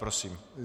Prosím.